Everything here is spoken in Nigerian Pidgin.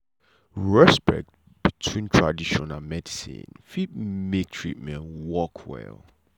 respect between tradition and medicine fit make treatment work well.